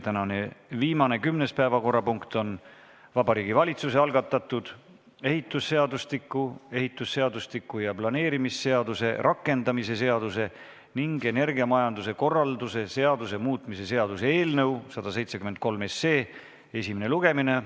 Tänane viimane, kümnes päevakorrapunkt on Vabariigi Valitsuse algatatud ehitusseadustiku, ehitusseadustiku ja planeerimisseaduse rakendamise seaduse ning energiamajanduse korralduse seaduse muutmise seaduse eelnõu 173 esimene lugemine.